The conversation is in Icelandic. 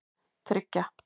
þriggja